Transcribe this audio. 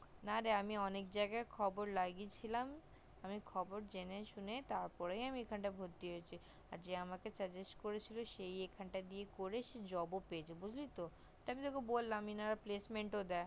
না রে আমি অনেক জায়গায় খবর লাগিয়ে ছিলাম আমি খবর জেনে শুনে তার পর আমি এখানটায় ভর্তি হয়েছি আর যে আমাকে suggest করেছিল সে ও এখান টা দিয়ে করে job ও পেয়েছে বুজলি তো তার পর ওকে বললাম যে ওনারা placement ও দেয়